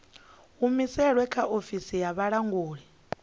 humusilwe kha ofisi ya vhulanguli